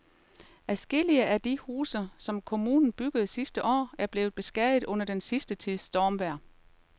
Adskillige af de huse, som kommunen byggede sidste år, er blevet beskadiget under den sidste tids stormvejr.